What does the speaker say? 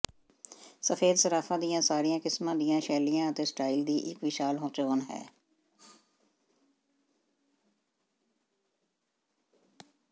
ਸਫੈਦ ਸਰਾਫਾਂ ਦੀਆਂ ਸਾਰੀਆਂ ਕਿਸਮਾਂ ਦੀਆਂ ਸ਼ੈਲੀਆਂ ਅਤੇ ਸਟਾਈਲ ਦੀ ਇੱਕ ਵਿਸ਼ਾਲ ਚੋਣ ਹੈ